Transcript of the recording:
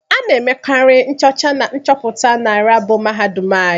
Ana emekari nchocha na nchọpụta na laabụ mahadum anyị.